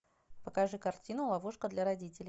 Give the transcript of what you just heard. покажи картину ловушка для родителей